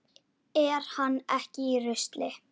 Er hann ekki í rusli?